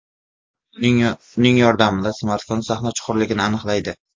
Uning yordamida smartfon sahna chuqurligini aniqlaydi.